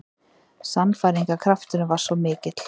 Sannfæringarkrafturinn var svo mikill.